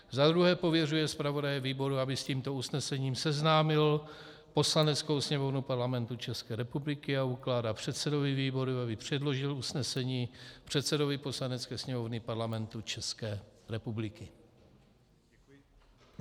za druhé, pověřuje zpravodaje výboru, aby s tímto usnesením seznámil Poslaneckou sněmovnu Parlamentu České republiky, a ukládá předsedovi výboru, aby předložil usnesení předsedovi Poslanecké sněmovny Parlamentu České republiky.